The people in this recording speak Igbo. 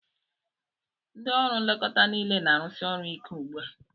Ndị ọrụ nlekọta niile na-arụsi ọrụ ike ugbu a.